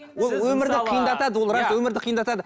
ол өмірді қиындатады ол өмірді қиындатады